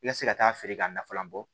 I ka se ka taa feere ka nafalan bɔ